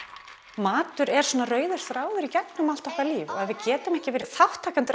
matur er svona rauður þráður í gegnum allt okkar líf og ef við getum ekki verið þátttakendur